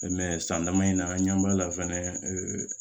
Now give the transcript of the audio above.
san dama in na an ɲɛ b'a la fɛnɛ